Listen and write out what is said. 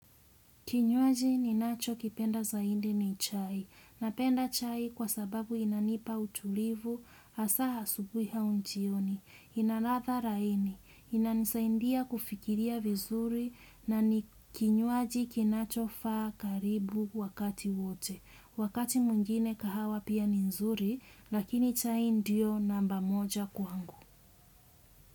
Kinywaji ninachokipenda zaidi ni chai. Napenda chai kwa sababu inanipa utulivu, hasa asubui au jioni. Ina ladha laini. Inanisaidia kufikiria vizuri na ni kinywaji kinachofaa karibu wakati wote. Wakati mwingine kahawa pia ni nzuri, lakini chai ndio namba moja kwangu.